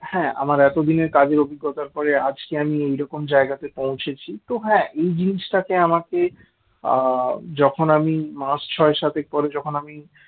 হ্যাঁ আমার এতদিনের কাজের অভিজ্ঞতার পরে তো আজকে আমি এরকম জায়গাতে পৌঁছেছি তো হ্যাঁ এই জিনিসটাতে আমাকে আ যখন আমি মাস ছয় সাতেক পরে জকন আমি